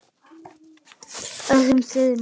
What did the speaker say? öðrum þyrma.